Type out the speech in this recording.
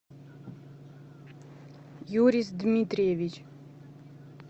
юрис дмитриевич